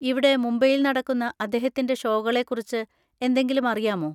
ഇവിടെ മുംബൈയിൽ നടക്കുന്ന അദ്ദേഹത്തിന്‍റെ ഷോകളെക്കുറിച്ച് എന്തെങ്കിലും അറിയാമോ?